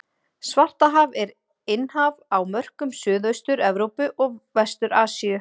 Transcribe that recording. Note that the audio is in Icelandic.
Svartahaf er innhaf á mörkum Suðaustur-Evrópu og Vestur-Asíu.